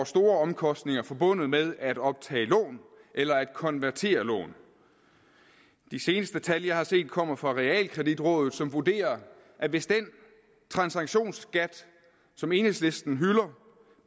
store omkostninger forbundet med at optage lån eller at konvertere lån de seneste tal jeg har set kommer fra realkreditrådet som vurderer at hvis den transaktionsskat som enhedslisten hylder